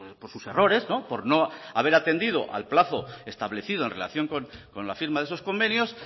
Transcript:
por sus errores por no haber atendido al plazo establecido en relación con la firma de esos convenios